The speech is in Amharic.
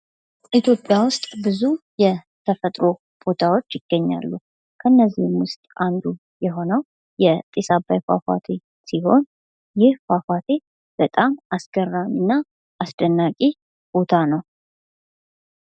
ኢትዮጵያ ውስጥ ብዙ የተፈጥሮ ቦታዎች ይገኛሉ። ከእነዚህም ውስጥ አንዱ የሆነው የጢስ አባይ ፏፏቴ ሲሆን ፤ይህ ፏፏቴ በጣም አስገራሚ እና አስደናቂ ቦታ ነው።